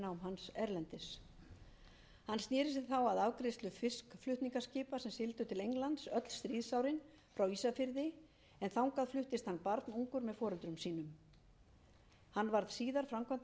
hans erlendis hann sneri sér þá að afgreiðslu fiskflutningaskipa sem sigldu til englands öll stríðsárin frá ísafirði en þangað fluttist hann barnungur með foreldrum sínum hann var síðar framkvæmdastjóri samvinnufélags ísfirðinga nítján hundruð